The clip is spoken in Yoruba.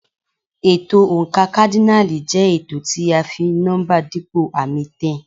Ètò oǹkà kádínààlì jẹ́ ètò tí à ń fi nọ́mbà dípò àmì 10.